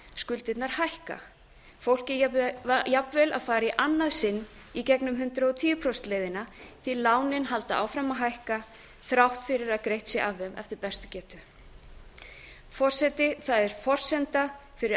skuldirnar hækka fólkið jafnvel að fara í annað sinn í gegnum hundrað og tíu prósenta leiðina því að lánin halda áfram að hækka þrátt fyrir að greitt sé af þeim eftir bestu getu forseti það er forsenda fyrir